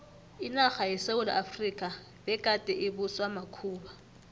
inarha yesewula efrika begade ibuswa makhuwa